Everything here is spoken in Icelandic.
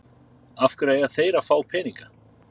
Af hverju eiga þeir að fá peninga?